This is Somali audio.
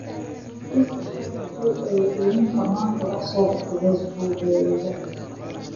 i soo sheeg haddii ay Linda maanta wax soo dhigto Facebook-gayga